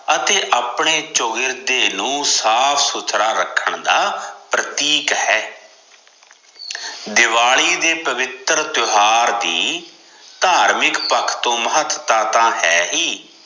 ਅਤੇ ਆਪਣੇ ਚੋਗਿਰਦੇ ਨੂੰ ਸਾਫ਼ ਸੁਥਰਾ ਰਖਣ ਦਾ ਪ੍ਰਤੀਕ ਹੈ ਦਿਵਾਲੀ ਦੇ ਪਵਿੱਤਰ ਤਿਓਹਾਰ ਦੀ ਧਾਰਮਿਕ ਪਖੋ ਮਹਤਤਾ ਤਾਂ ਹੈ ਹੀ